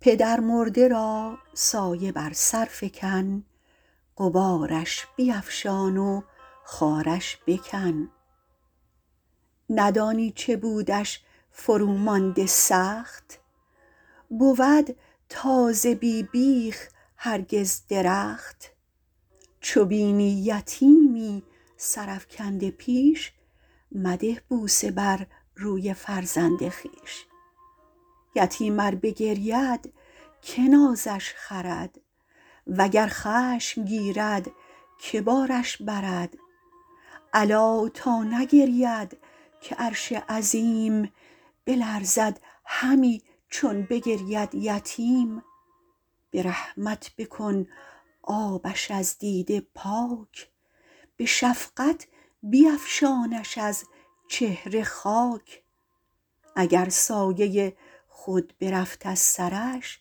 پدرمرده را سایه بر سر فکن غبارش بیفشان و خارش بکن ندانی چه بودش فرو مانده سخت بود تازه بی بیخ هرگز درخت چو بینی یتیمی سر افکنده پیش مده بوسه بر روی فرزند خویش یتیم ار بگرید که نازش خرد وگر خشم گیرد که بارش برد الا تا نگرید که عرش عظیم بلرزد همی چون بگرید یتیم به رحمت بکن آبش از دیده پاک به شفقت بیفشانش از چهره خاک اگر سایه خود برفت از سرش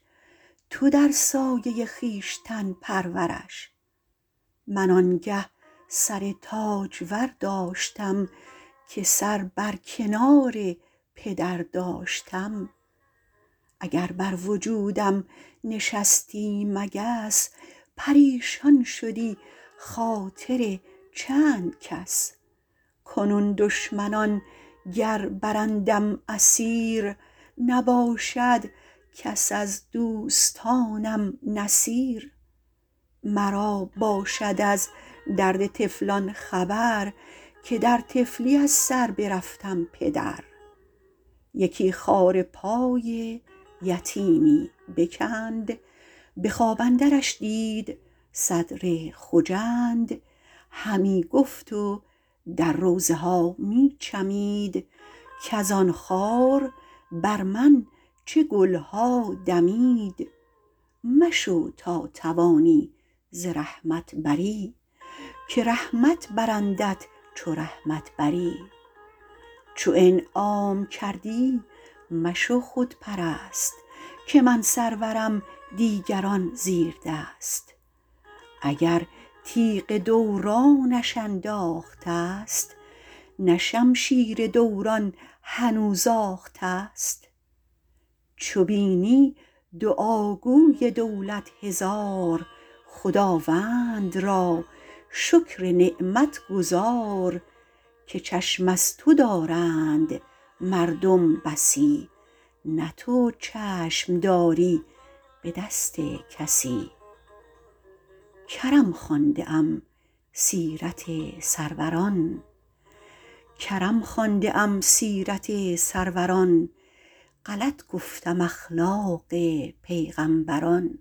تو در سایه خویشتن پرورش من آنگه سر تاجور داشتم که سر بر کنار پدر داشتم اگر بر وجودم نشستی مگس پریشان شدی خاطر چند کس کنون دشمنان گر برندم اسیر نباشد کس از دوستانم نصیر مرا باشد از درد طفلان خبر که در طفلی از سر برفتم پدر یکی خار پای یتیمی بکند به خواب اندرش دید صدر خجند همی گفت و در روضه ها می چمید کز آن خار بر من چه گلها دمید مشو تا توانی ز رحمت بری که رحمت برندت چو رحمت بری چو انعام کردی مشو خودپرست که من سرورم دیگران زیردست اگر تیغ دورانش انداخته ست نه شمشیر دوران هنوز آخته ست چو بینی دعاگوی دولت هزار خداوند را شکر نعمت گزار که چشم از تو دارند مردم بسی نه تو چشم داری به دست کسی کرم خوانده ام سیرت سروران غلط گفتم اخلاق پیغمبران